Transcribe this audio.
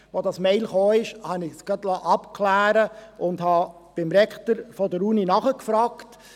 Als diese E-Mail kam, habe ich das gerade abklären lassen und habe beim Rektor der Universität nachgefragt.